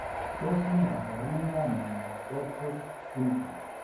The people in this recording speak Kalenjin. Tos ne kaborunoikap miondop Rotor syndrome?